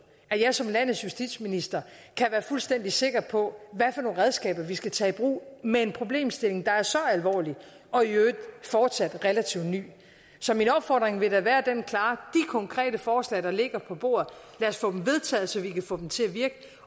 hvor jeg som landets justitsminister kan være fuldstændig sikker på hvad for nogle redskaber vi skal tage i brug med en problemstilling der er så alvorlig og i øvrigt relativt ny så min opfordring vil da være den klare konkrete forslag der ligger på bordet vedtaget så vi kan få dem til at virke